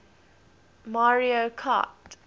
mario kart